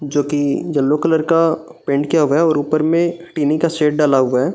जो कि yellow colour का पेंट किया हुआ है और ऊपर में टिन का शेड डला हुआ है।